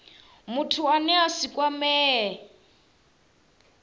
muthu ane a si kwamee